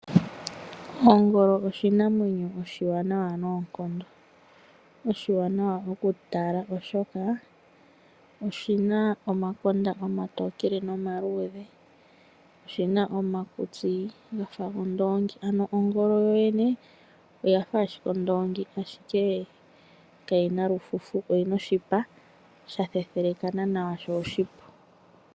Ongolo oshinamwenyo oshiwanawa noonkondo, oshiwanawa okutala oshoka oshina omakonda omatokele nomaluudhe, oshina omakutsi gafa gondoongi. Ano ongolo yoyene oyafa ashike oondoongi, ashike kayina olufufu oyina oshipa shathethelekana nawa sho oshipu.